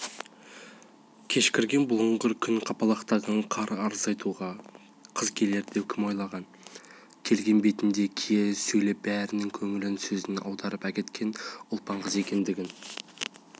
кешкірген бұлыңғыр күн қапалақтаған қар арыз айтуға қыз келер деп кім ойлаған келген бетінде кие сөйлеп бәрінің көңілін сөзіне аударып әкеткен ұлпан қыз екендігін